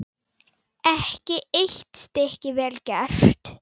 Ekki eitt stykki vel gert.